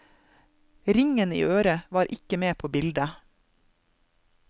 Ringen i øret var ikke med på bildet.